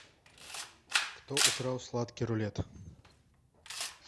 кто украл сладкий рулет